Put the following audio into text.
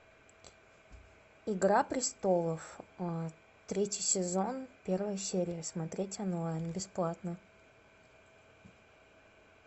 игра престолов третий сезон первая серия смотреть онлайн бесплатно